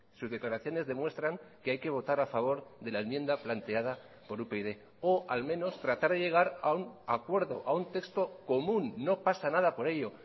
sus declaraciones demuestran que hay que votar a favor de la enmienda planteada por upyd o al menos tratar de llegar a un acuerdo a un texto común no pasa nada por ello